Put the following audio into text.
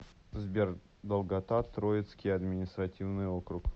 сбер долгота троицкий административный округ